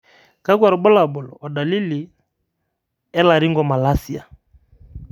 kakwa irbulabol o dalili e Laryngomalacia?